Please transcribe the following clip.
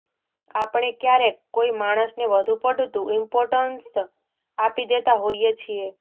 આપણે ક્યારેક કોઈ માણસને વધુ પડતું ઇમ્પોર્ટન્સ આપી દેતા હોઈએ છીએ